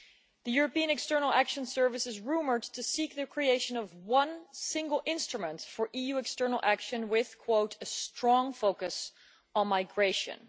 The European External Action Service is rumoured to seek the creation of one single instrument for EU External Action with a strong focus on migration'.